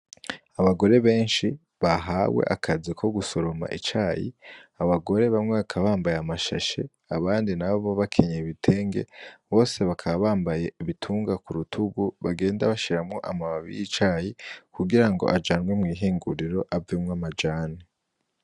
Abagore benshi bahawe akazi ko gusoroma icayi. Abagore bamwe bakaba bambaye amashashe, abandi nabo bakenyeye ibitenge. Bose bakaba bambaye ibitunga ku rutugu bagenda bashiramwo amababi y'icayi kugira ngo ajanwe mw'ihinguriro avemwo amajani.